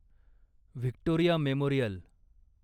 Victoria memorial